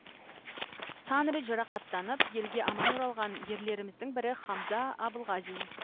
сан рет жарақаттанып елге аман оралған ерлеріміздің бірі хамза абылғазин